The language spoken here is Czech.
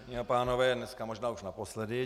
Dámy a pánové, dneska možná už naposledy.